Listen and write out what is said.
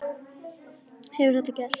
Hefur þetta gerst?